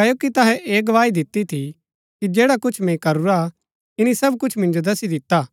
क्ओकि तैहै ऐह गवाही दिती थी कि जैडा कुछ मैंई करूरा ईनी सब कुछ मिन्जो दस्सी दिता